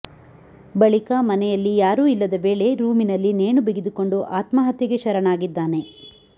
ಬಳಿಕ ಮನೆಯಲ್ಲಿ ಯಾರು ಇಲ್ಲದ ವೇಳೆ ರೂಮಿನಲ್ಲಿ ನೇಣಿ ಬಿಗಿದುಕೊಂಡು ಆತ್ಮಹತ್ಯೆಗೆ ಶರಣಾಗಿದ್ದಾನೆ